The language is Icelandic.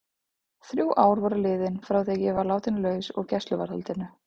Þrjú ár voru liðin frá því að ég var látin laus úr gæsluvarðhaldinu.